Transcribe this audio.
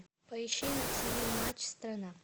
поищи на тв матч страна